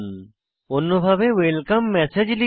অন্যভাবে welcome message দেখি